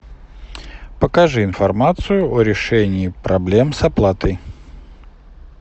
покажи информацию о решении проблем с оплатой